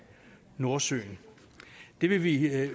nordsøen det vil vi ikke